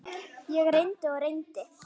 Ég reyndi og reyndi.